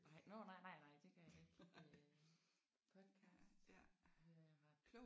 Nej nåh nej nej nej det gør jeg ikke øh podcast hører jeg ret